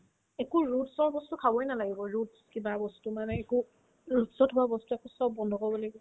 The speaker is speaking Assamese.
একো roots ৰ বস্তু খাবই নালাগিব roots কিবা বস্তু মানে একো roots ত হোৱা বস্তু একো চব বন্ধ কৰিব লাগিব